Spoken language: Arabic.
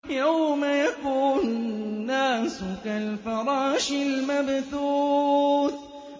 يَوْمَ يَكُونُ النَّاسُ كَالْفَرَاشِ الْمَبْثُوثِ